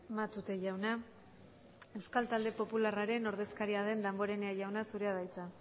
matute jauna euskal talde popularraren ordezkaria den damborenea jauna zurea da hitza